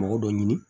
Mɔgɔ dɔ ɲini